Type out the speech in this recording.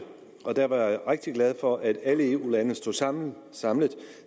og der var jeg rigtig glad for at alle eu landene stod sammen sammen